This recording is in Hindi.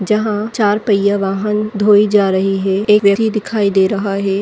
जहाँ चार पहिया वाहन धोई जा रही हैं। एक व्यक्ति दिखाई दे रहा है।